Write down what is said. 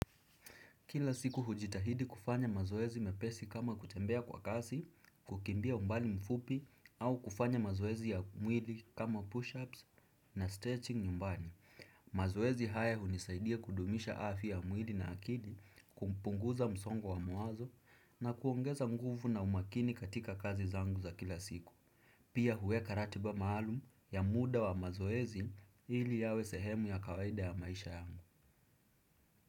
Kila siku hujitahidi kufanya mazoezi mepesi kama kutembea kwa kasi, kukimbia umbali mfupi au kufanya mazoezi ya mwili kama push-ups na stretching nyumbani. Mazoezi haya hunisaidia kudumisha afya ya mwili na akili, kupunguza msongo wa mawazo na kuongeza nguvu na umakini katika kazi zangu za kila siku. Pia huweka ratiba maalum ya muda wa mazoezi ili yawe sehemu ya kawaida ya maisha yangu.